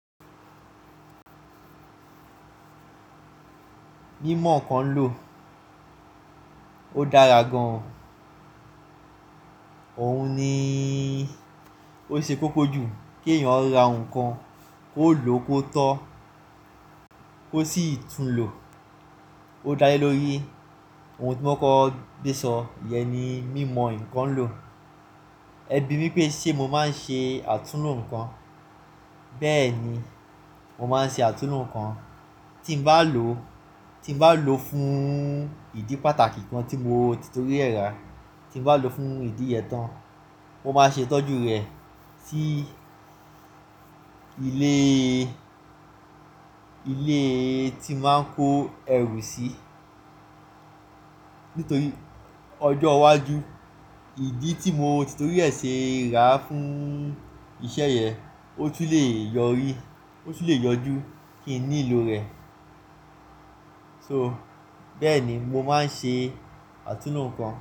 Mímọ̀ nǹkan lò ó dára gan-an. Òun ni ó ṣe kókó jù kí èèyàn ra nǹkan kó lò kó tó kò sì tún lò ó dá lé lórí. Òun tí mo kò kò gbé sọ, ìyẹn ni mímọ̀ ǹkan lò. Ẹ bi mí pé ṣe mo máa ń ṣe àtúnlo nǹkan. Bẹ́ẹ̀ni, mo máa ń ṣe àtúnlo nǹkan. Tí m bá lò ó, tí m bá lò ó fún ìdí pàtàkì kan tí mo ti torí ẹ̀ rà, tí m bá lò ó fún ìdí yẹ tán, mo máa ṣe ìtọ́jú rẹ̀ sí ilé, ilé tí màá ń kó ẹrù sí. Nítorí ọjọ́ iwájú ìdí tí mo ti torí ẹ̀ ṣe rà á fún iṣẹ́ yẹ̀n, ó tún le yọrí, ó tún le yọjú kí n nílò rẹ̀. So bẹ́ẹ̀ni, mo máa ń ṣe àtúnlo nǹkan.